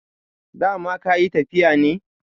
dama ka yi tafiya ne?